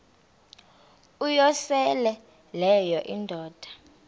uyosele leyo indoda